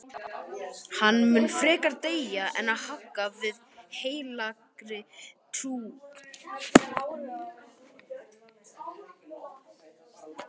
Hann mun frekar deyja en hagga við heilagri trú.